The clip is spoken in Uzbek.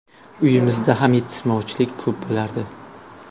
Uyimizda ham yetishmovchilik ko‘p bo‘lardi.